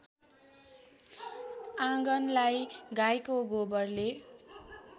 आँगनलाई गाईको गोबरले